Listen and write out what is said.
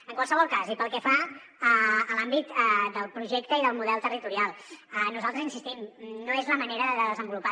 en qualsevol cas i pel que fa a l’àmbit del projecte i del model territorial nosaltres hi insistim no és la manera de desenvolupar